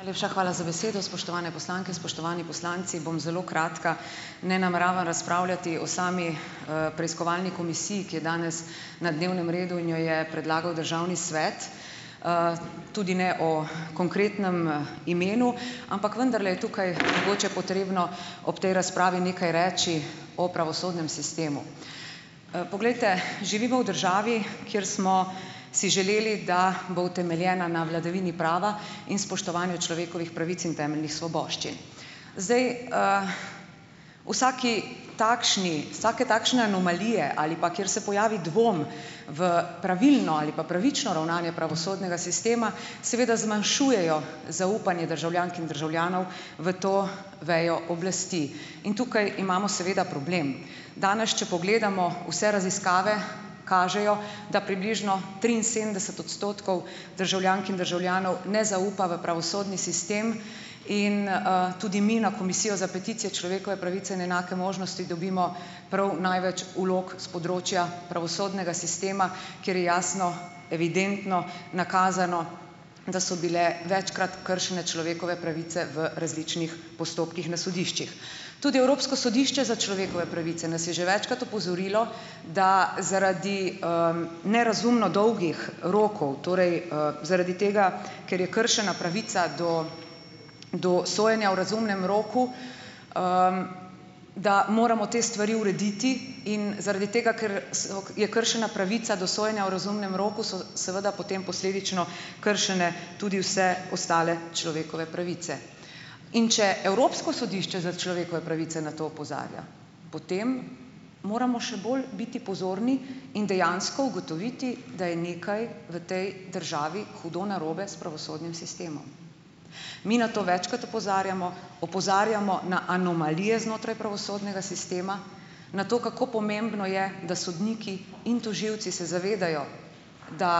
Najlepša hvala za besedo, spoštovane poslanke, spoštovani poslanci. Bom zelo kratka. Ne nameravam razpravljati o sami, preiskovalni komisiji, ki je danes na dnevnem redu in jo je predlagal državni svet. tudi ne o konkretnem, imenu, ampak vendarle je tukaj mogoče potrebno ob tej razpravi nekaj reči o pravosodnem sistemu. poglejte, živimo v državi, kjer smo si želeli, da bo utemeljena na vladavini prava in spoštovanju človekovih pravic in temeljnih svoboščin. Zdaj, vsaki takšni, vsake takšne anomalije ali pa, kjer se pojavi dvom v pravilno ali pa pravično ravnanje pravosodnega sistema, seveda zmanjšujejo zaupanje državljank in državljanov v to vejo oblasti. In tukaj imamo seveda problem. Danes, če pogledamo, vse raziskave kažejo, da približno triinsedemdeset odstotkov državljank in državljanov ne zaupa v pravosodni sistem in, tudi mi na Komisijo za peticije, človekove pravice in enake možnosti dobimo prav največ vlog s področja pravosodnega sistema, kjer je jasno, evidentno nakazano, da so bile večkrat kršene človekove pravice v različnih postopkih na sodiščih. Tudi Evropsko sodišče za človekove pravice nas je že večkrat opozorilo, da zaradi, nerazumno dolgih rokov, torej, zaradi tega, ker je kršena pravica do, do sojenja v razumnem roku, da moramo te stvari urediti in zaradi tega, ker je kršena pravica do sojenja v razumnem roku, so seveda potem posledično kršene tudi vse ostale človekove pravice. In če Evropsko sodišče za človekove pravice na to opozarja, potem moramo še bolj biti pozorni in dejansko ugotoviti, da je nekaj v tej državi hudo narobe s pravosodnim sistemom. Mi na to večkrat opozarjamo, opozarjamo na anomalije znotraj pravosodnega sistema na to, kako pomembno je, da sodniki in tožilci se zavedajo, da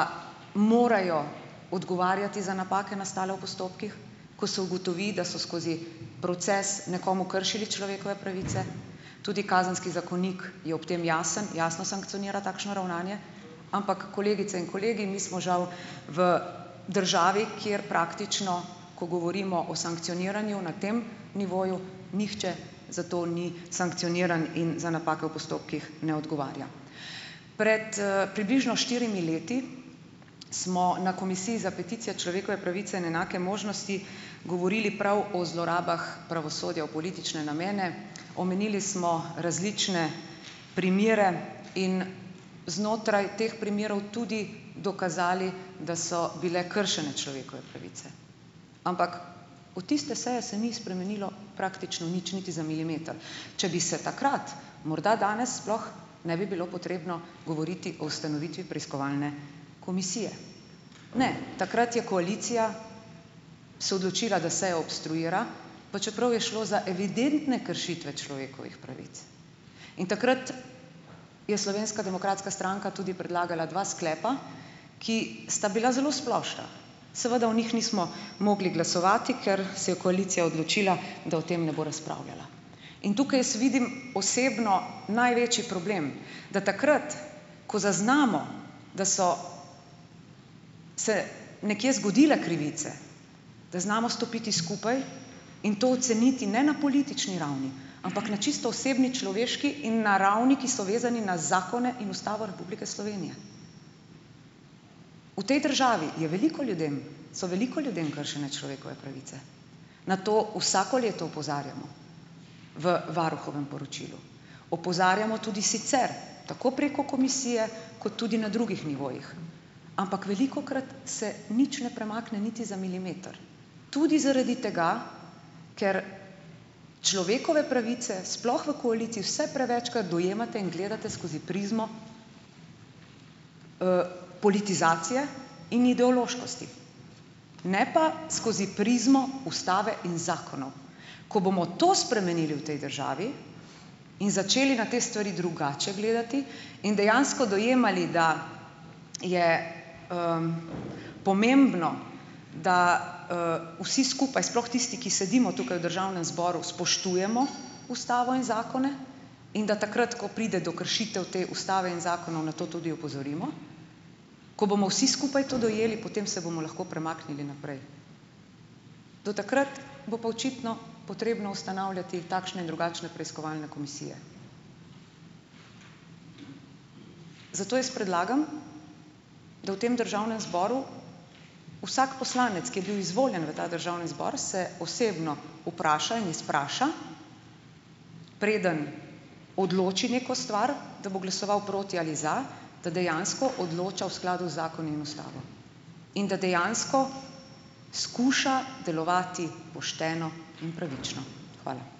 morajo odgovarjati za napake, nastale v postopkih, ko se ugotovi, da so skozi proces nekomu kršili človekove pravice. Tudi kazenski zakonik je ob tem jasen, jasno sankcionira takšno ravnanje, ampak, kolegice in kolegi, mi smo žal v državi, kjer praktično, ko govorimo o sankcioniranju na tem nivoju, nihče za to ni sankcioniran in za napake v postopkih ne odgovarja. Pred, približno štirimi leti smo na Komisiji za peticije, človekove pravice in enake možnosti govorili prav o zlorabah pravosodja v politične namene. Omenili smo različne primere in znotraj teh primerov tudi dokazali, da so bile kršene človekove pravice. Ampak od tiste seje se ni spremenilo praktično nič, niti za milimeter. Če bi se takrat, morda danes sploh ne bi bilo potrebno govoriti o ustanovitvi preiskovalne komisije. Ne, takrat je koalicija se odločila, da sejo obstruira, pa čeprav je šlo za evidentne kršitve človekovih pravic. In takrat je Slovenska demokratska stranka tudi predlagala dva sklepa, ki sta bila zelo splošna. Seveda o njih nismo mogli glasovati, ker se je koalicija odločila, da o tem ne bo razpravljala. In tukaj jaz vidim osebno največji problem, da takrat, ko zaznamo, da so se nekje zgodile krivice, da znamo stopiti skupaj in to oceniti ne na politični ravni, ampak na čisto osebni, človeški in na ravneh, ki so vezane na zakone in Ustavo Republike Slovenije. V tej državi je veliko ljudem, so veliko ljudem kršene človekove pravice. Na to vsako leto opozarjamo v varuhovem poročilu. Opozarjamo tudi sicer, tako preko komisije kot tudi na drugih nivojih. Ampak velikokrat se nič ne premakne, niti za milimeter. Tudi zaradi tega, ker človekove pravice, sploh v koaliciji, vse prevečkrat dojemate in gledate skozi prizmo, politizacije in ideološkosti. Ne pa skozi prizmo ustave in zakonov. Ko bomo to spremenili v tej državi in začeli na te stvari drugače gledati in dejansko dojemali, da je, pomembno, da, vsi skupaj, sploh tisti, ki sedimo tukaj v državnem zboru, spoštujemo ustavo in zakone in da takrat, ko pride do kršitev te ustave in zakonov, na to tudi opozorimo. Ko bomo vsi skupaj to dojeli, potem se bomo lahko premaknili naprej. Do takrat bo pa očitno potrebno ustanavljati takšne in drugačne preiskovalne komisije. Zato jaz predlagam, da v tem državnem zboru vsak poslanec, ki je bil izvoljen v ta državni zbor, se osebno vpraša in izpraša, preden odloči neko stvar, da bo glasoval proti ali za, da dejansko odloča v skladu z zakoni in ustavo. In da dejansko skuša delovati pošteno in pravično. Hvala. Hvala